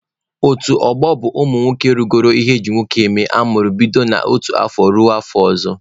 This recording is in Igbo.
Otu ọgbọ bụ ụmụ nwoke rugoro ihe eji nwoke eme amụrụ bido n'otu afọ ruo afọ ọzọ.